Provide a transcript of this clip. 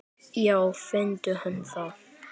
Já finndu hann þá!